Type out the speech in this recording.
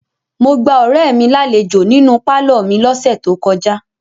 Mo gba ọ̀rẹ́ mi lálejò nínú pálọ̀ mi lọ́sẹ̀ tó kọjá.